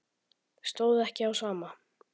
Stóð ekki á sama.